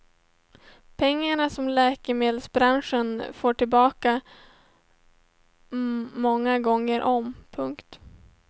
Pengar som läkemedelsbranschen fått tillbaka många gånger om. punkt